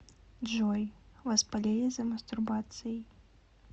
джой вас палили за мастурбацией